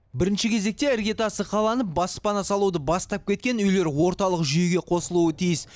бірінші кезекте іргетасы қаланып баспана салуды бастап кеткен үйлер орталық жүйеге қосылуы тиіс